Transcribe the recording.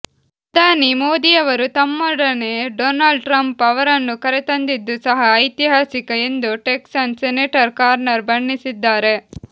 ಪ್ರಧಾನಿ ಮೋದಿಯವರು ತಮ್ಮೊೊಡನೆ ಡೊನಾಲ್ಡ್ ಟ್ರಂಪ್ ಅವರನ್ನು ಕರೆತಂದಿದ್ದೂ ಸಹ ಐತಿಹಾಸಿಕ ಎಂದು ಟೆಕ್ಸಾಾಸ್ ಸೆನೆಟರ್ ಕಾರ್ನನ್ ಬಣ್ಣಿಿಸಿದ್ದಾಾರೆ